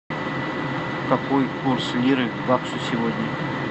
какой курс лиры к баксу сегодня